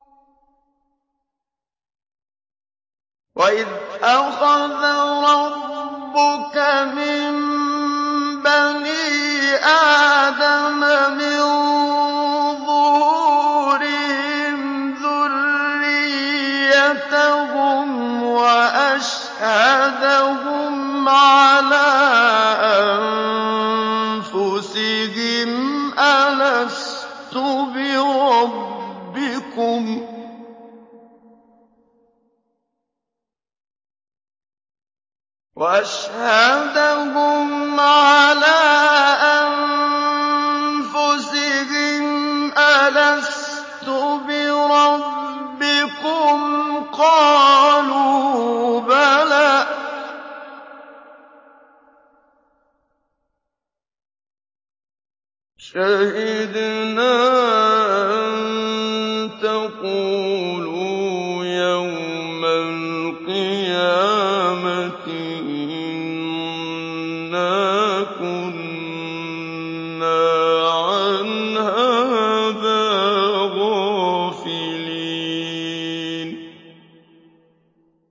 وَإِذْ أَخَذَ رَبُّكَ مِن بَنِي آدَمَ مِن ظُهُورِهِمْ ذُرِّيَّتَهُمْ وَأَشْهَدَهُمْ عَلَىٰ أَنفُسِهِمْ أَلَسْتُ بِرَبِّكُمْ ۖ قَالُوا بَلَىٰ ۛ شَهِدْنَا ۛ أَن تَقُولُوا يَوْمَ الْقِيَامَةِ إِنَّا كُنَّا عَنْ هَٰذَا غَافِلِينَ